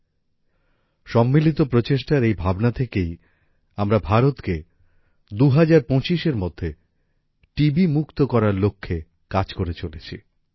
এই ভাবনা থেকেই আমাদের প্রচেষ্টা যে আমরা ভারতকে ২০২৫ এর মধ্যে টি বি মুক্ত করার লক্ষ্যে কাজ করে চলেছি